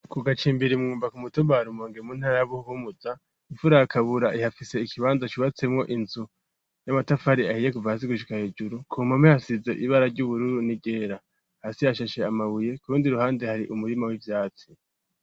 Ku gacimbiri mwumba ku mutumba wa rumonge mu ntara buhumuza ifura ya kabura ihafise ikibanza cubatsemwo inzu y'amatafari ahiye kuva hasi gushika hejuru ku mpande hasize ibara ry'ubururu n'iryera hasi hashashe amabuye kurundi ruhande hari umurima w'ivyatsi.